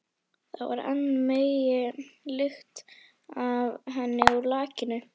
Það var enn megn lykt af henni úr lakinu.